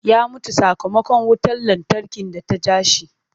Ya mutu sakamakon wutar lantarki da ta ja shi.